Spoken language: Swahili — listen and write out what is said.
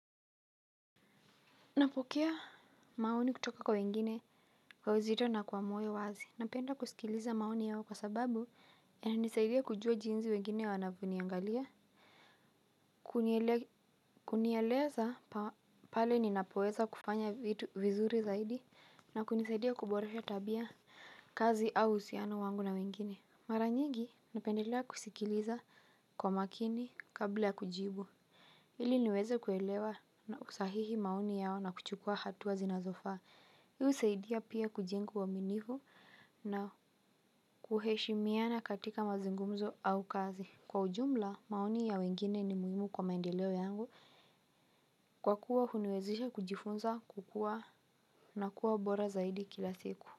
Napokea maoni kutoka kwa wengine kwa uzito na kwa moyo wazi. Napenda kusikiliza maoni yao kwa sababu yananisaidia kujua jinsi wengine wanavyo niangalia. Kunieleza pale ninapoweza kufanya vitu vizuri zaidi na kunisaidia kuboresha tabia, kazi au uhusiano na wengine mara nyingi napendelea kusikiliza kwa makini kabla ya kujibu. Ili niweze kuelewa na kusahihi maoni yao na kuchukua hatua zinazofaa. Hio husaidia pia kujenga uaminifu na kuheshimiana katika mazungumzo au kazi. Kwa ujumla, maoni ya wengine ni muhimu kwa maendeleo yangu. Kwa kuwa huniwezesha kujifunza kukua na kuwa bora zaidi kila siku.